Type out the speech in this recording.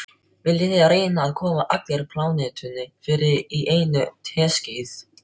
Viljiði reyna að koma allri plánetunni fyrir í einni teskeið.